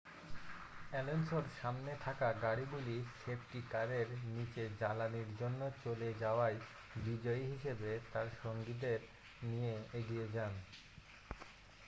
অ্যালোনসোর সামনে থাকা গাড়িগুলি সেফটি কারের নীচে জ্বালানির জন্য চলে যাওয়ায় বিজয়ী হিসাবে তার সঙ্গীদের নিয়ে এগিয়ে যান